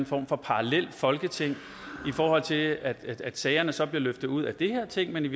form for parallelt folketing i forhold til at sagerne så bliver løftet ud af det her ting men